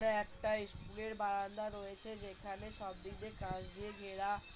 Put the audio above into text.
টা একটা ইস্কুল এর বারান্দা রয়েছে যেখানে সবদিক দিয়ে কাঁচ দিয়ে ঘেরা।